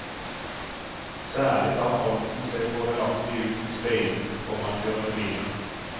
Særlig tar fronten seg fordelaktig ut i speilene til forankjørende biler.